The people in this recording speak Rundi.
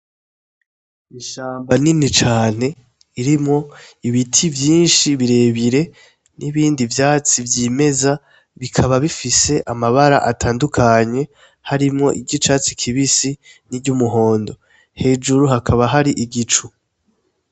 Ishamba rinini cane ririmwo ibiti vyinshi birebire n'ibindi vyatsi vyimeza, bikaba bifise amabara atandukanye harimwo iry'icatsi kibisi n'iryumuhondo, hejuru hakaba hari igicu.